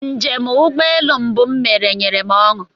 Njem ụgbọelu mbụ m mere nyere m ọṅụ